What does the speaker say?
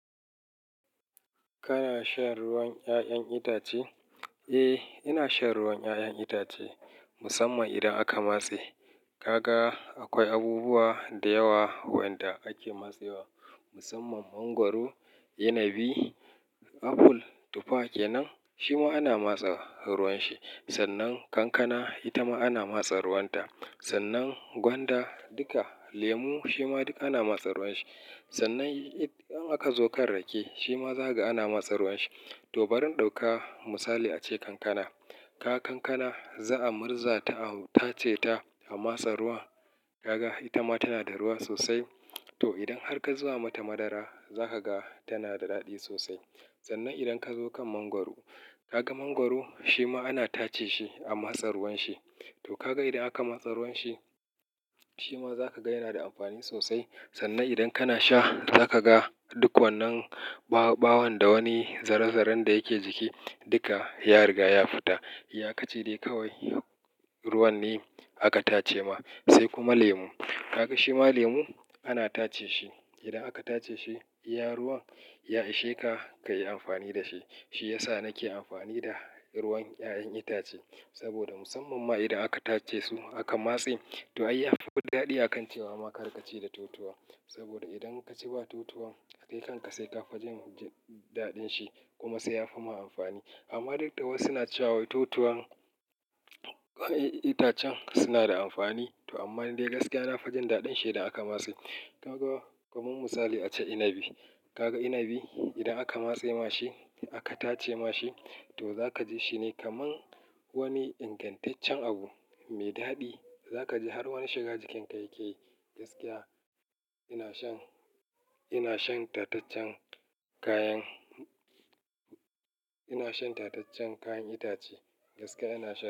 Kana shan ruwan 'ya'yan itace? Eh, ina shan ruwan 'ya'yan itace musamman idan aka matse. Ka ga akwai abubuwa da yawa wanda ake matsewa musamman mangwaro, inibi, aful, tufa kenan shi ma ana matsa ruwan shi. Sannan kankana ita ma ana matsa ruwan ta. Sannan gwanda duka lemu shima duk ana matsa ruwan shi. Sannan in aka zo kan rake shima za ka ga ana matsa ruwan shi. To bari in ɗauka misali ace kankana, ka ga kankana za a murza ta ace ta a matsa ruwa. Kaga ita ma tana da ruwa sosai. To idan har ka zuba mata madara za ka ga tana da daɗi sosai. Sannan idan ka zo kan mangwaro, ka ga mangwaro shi ma ana tace shi a matsa ruwan shi. To kaga idan aka matse ruwan shi shima za ka ga yana da amfani sosai. Sannan idan kana sha za ka ga duk wannan ɓawon da wani zaren zaren da yake jiki duka ya riga ya fita. Ya ka ce dai kawai ruwan ne aka tace ma. Sai kuma lemu, ka ga shi ma lemu ana tace shi. Idan aka tace shi iya ruwan, ya ishe ka ka yi amfani da shi. Shi ya sa nake amfani da ruwan 'ya'yan itace saboda musamman ma idan aka tace su aka matse to ai yafi daɗi a kan cewa ma har ka ci da totowa. Saboda idan ka ci ba totowa kai kanka sai ka fi jin daɗin shi kuma sai ya fi ma amfani. Amma duk da wasu suna cewa totowan itacen suna da amfani. To amma dai gaskiya na fa jin daɗin shi idan aka matse. Ka ga kaman misali a ce inibi, ka ga inibi idan aka matse ma shi aka tace ma shi to zaka ji shi ne kaman wani ingantaccen abu mai daɗi. Zaka ji har wani shiga jikin ka yake. Gaskiya ina shan, ina shan tataccen kayan itace ina shan tataccen kayan itace. Gaskiya ina sha.